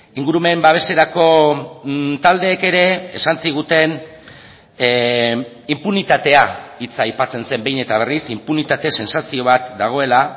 ingurumen babeserako taldeek ere esan ziguten inpunitatea hitza aipatzen zen behin eta berriz inpunitate zentzazio bat dagoela